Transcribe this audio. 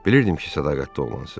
Bilirdim ki, sədaqətli oğlansız.